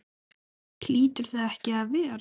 Hlýtur það ekki að vera?